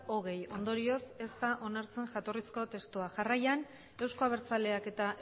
hogei ondorioz ez da onartzen jatorrizko testua jarraian euzko abertzaleak eta